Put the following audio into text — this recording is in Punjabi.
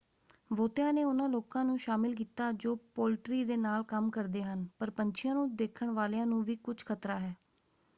ਬਹੁਤਿਆਂ ਨੇ ਉਹਨਾਂ ਲੋਕਾਂ ਨੂੰ ਸ਼ਾਮਲ ਕੀਤਾ ਜੋ ਪੋਲਟਰੀ ਦੇ ਨਾਲ ਕੰਮ ਕਰਦੇ ਹਨ ਪਰ ਪੰਛੀਆਂ ਨੂੰ ਦੇਖਣ ਵਾਲਿਆਂ ਨੂੰ ਵੀ ਕੁਝ ਖਤਰਾ ਹੈ।